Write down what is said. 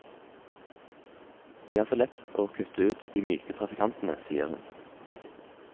Det er så lett å kutte ut de myke trafikantene, sier hun.